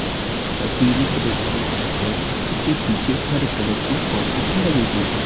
पीली कलर की है उसके पीछे हर कलर की पौधे लगी हुई है।